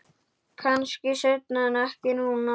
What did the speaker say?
Kannski seinna en ekki núna.